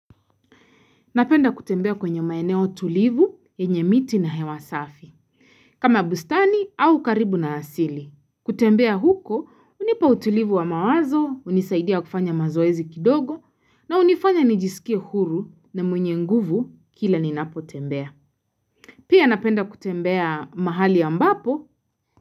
Napenda kutembea kwenye maeneo tulivu, yenye miti na hewasafi. Kama bustani au karibu na asili. Kutembea huko, unipa utulivu wa mawazo, unisaidia kufanya mazoezi kidogo, na unifanya nijisikia huru na mwenye nguvu kila ninapo tembea. Pia napenda kutembea mahali ambapo,